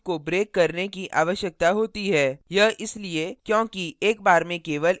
यह इसलिए क्योंकि एक बार में केवल एक condition true हो सकती है